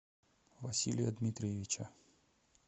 василия дмитриевича